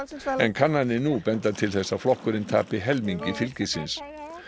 kannanir nú benda til þess að flokkurinn tapi helmingi fylgisins